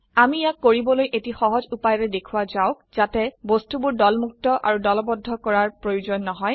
আমি ইয়াক কৰিবলৈ এটি সহজ উপায়েৰে দেখোৱা যাওক যাতে বস্তুবোৰ দলমুক্ত আৰু দলবদ্ধ কৰাৰ প্ৰয়োজন নহয়